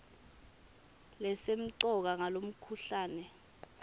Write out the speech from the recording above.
lesemcoka ngalomkhuhlane hn